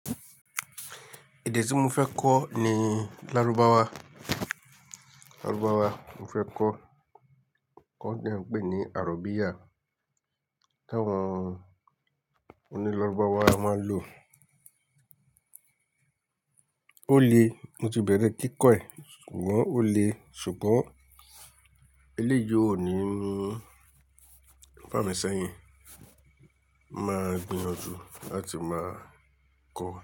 Èdè tí mo fẹ́ kọ́ ni Lárúbáwá, Lárúbáwá mo fẹ́ kọ́. Kọ́ dẹ̀ ń pè ní Arabiya. Tá wọ́n, oní Lárúbáwá a máa lò. Ó le, mo ti bẹ̀rẹ̀ kíkọ̀ ẹ̀ ṣùgbọ́n ó le ṣùgbọ́n eléyìí ò ní ń, fá mi sẹ́yìn, máa gbìyànjú láti máa kọ́ ọ.